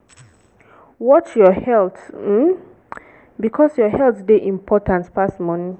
watch your health um because your health dey important pass money